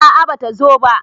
a a ba ta zo ba